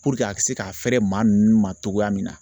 Puruke a bɛ se ka fɛrɛ maa ninnu ma cogoya min na